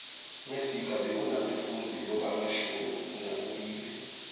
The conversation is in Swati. mesiga bekanebafundzi lobamashumi nakubili